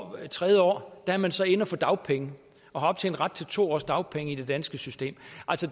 det tredje år er man så inde at få dagpenge og har optjent ret til to års dagpenge i det danske system